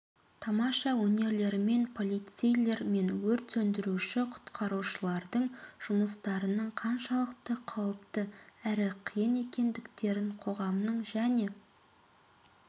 тамаша өнерлерімен полицейлер мен өрт сөндіруші құтқарушылардың жұмыстарының қаншалықты қауіпті әрі қиын екендіктерін қоғамның және